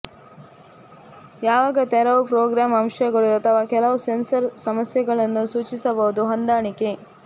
ಯಾವಾಗ ತೆರವು ಪ್ರೋಗ್ರಾಂ ಅಂಶಗಳು ಅಥವಾ ಕೆಲವು ಸೆನ್ಸರ್ ಸಮಸ್ಯೆಗಳನ್ನು ಸೂಚಿಸಬಹುದು ಹೊಂದಾಣಿಕೆ